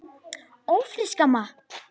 Ófrísk, amma!